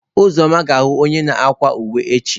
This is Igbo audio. Uzoma ga ahu onye na akwa uwe echi.